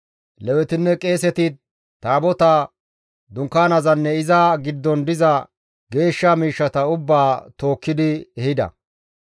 Lewetinne qeeseti Taabotaa, Dunkkaanezanne iza giddon diza geeshsha miishshata ubbaa tookkidi ehida.